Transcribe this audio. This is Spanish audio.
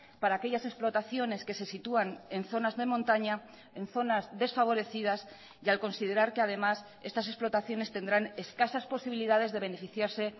para aquellas explotaciones que se sitúan en zonas de montaña en zonas desfavorecidas y al considerar que además estas explotaciones tendrán escasas posibilidades de beneficiarse